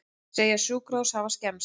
Segja sjúkrahús hafa skemmst